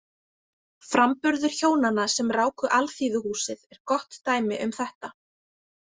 Framburður hjónanna sem ráku Alþýðuhúsið er gott dæmi um þetta.